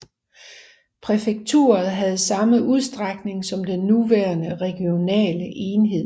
Præfekturet havde samme udstrækning som den nuværende regionale enhed